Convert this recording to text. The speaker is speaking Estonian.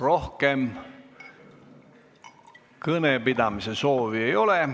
Rohkem kõnepidamise soovi ei ole.